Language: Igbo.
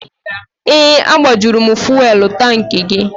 Ee, agbajuru m fuwelụ tankị gị.